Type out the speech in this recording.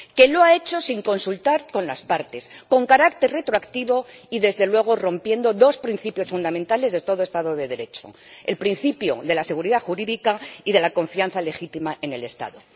que lo ha hecho sin consultar con las partes, con carácter retroactivo y, desde luego, rompiendo dos principios fundamentales de todo Estado de Derecho el principio de la seguridad jurídica y de la confianza legítima en el Estado.